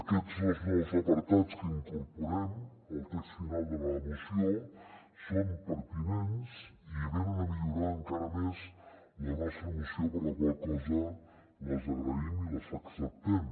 aquests dos nous apartats que incorporem al text final de la moció són pertinents i venen a millorar encara més la nostra moció per la qual cosa les agraïm i les acceptem